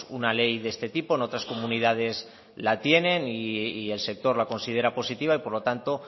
una ley de este tipo en otras comunidades la tienen y el sector la considera positiva y por lo tanto